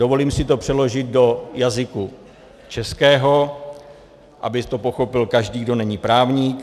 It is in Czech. Dovolím si to přeložit do jazyka českého, aby to pochopil každý, kdo není právník.